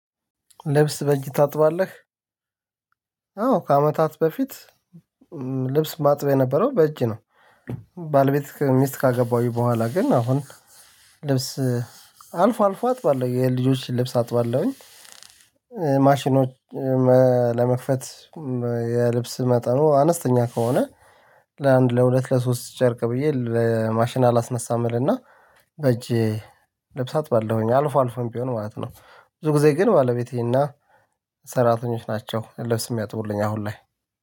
ልብስ በእጅ ታጥባለህ? አዎ ከአመታት በፊት ልብስ ማጥበው የነበረው በእጅ ነው። ባለቤት ሚስት ካገባሁኝ በኋላ ግን አሁን ልብስ አልፎ አልፎ አጥባለሁ የልጆችን ልብስ አጥባለሁኝ። ማሽኖች ለመክፈት የልብስ መጠኑ አነስተኛ ከሆነ ለአንድ ለሁለት ለሶስት ጨርቅ ብዬ ለማሽን አላስነሳም። እና በእጄ ልብስ አጥባለሁኝ አልፎ አልፎም ቢሆን ማለት ነው። ብዙ ጊዜ ግን ባለቤቴና ሰራተኞች ናቸው ልብስ የሚያጥቡልኝ። አሁን ላይ